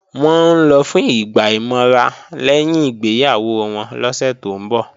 Wọ́n ń lọ fún ìgbà ìmọra lẹ́yìn ìgbéyàwó wọn lọ́sẹ̀ tó ń bọ̀